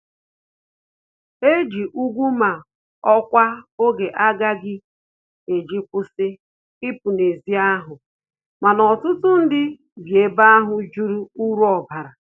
Eji úgwù ma ọkwa oge aga eji kwụsị ipu na ezi ahụ, mana ọtụtụ ndị bi ebe ahụ jụrụ uru ọbara